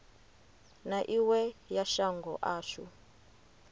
na iwe ya shango ashu